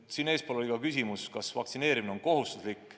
Eespool oli küsimus, kas vaktsineerimine on kohustuslik.